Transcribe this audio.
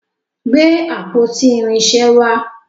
gbé àpótí irinṣẹ wà.